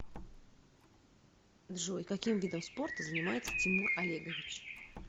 джой каким видом спорта занимается тимур олегович